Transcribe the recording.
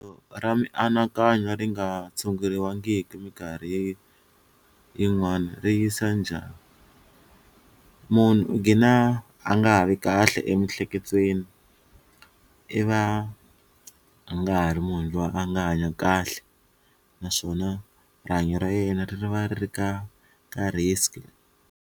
Ra mianakanyo ri nga tshunguriwangiki minkarhi yin'wana ri yisa njhani, munhu u gina a nga ha vi kahle emiehleketweni i va a nga ha ri munhu loyi a nga hanya kahle naswona rihanyo ra yena ri ri va ri ka ka risk.